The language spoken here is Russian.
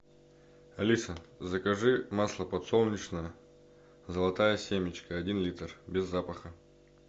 алиса закажи масло подсолнечное золотая семечка один литр без запаха